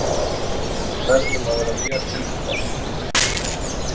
Við verðum að vera mjög tilbúnar.